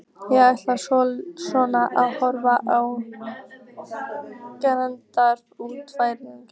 Ég ætla svona að horfa á gamlingjana úr fjarlægð.